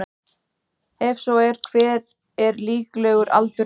Ef svo er hver er líklegur aldur hennar?